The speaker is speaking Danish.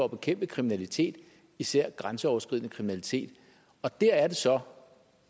at bekæmpe kriminalitet især grænseoverskridende kriminalitet og der er det så